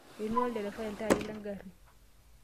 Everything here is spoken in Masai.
Einua olderefai iltaai lengari.